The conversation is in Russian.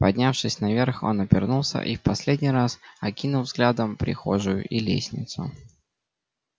поднявшись наверх он обернулся и в последний раз окинул взглядом прихожую и лестницу